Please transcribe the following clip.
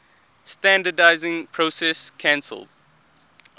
standardizing process called